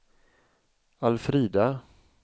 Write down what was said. Alfrida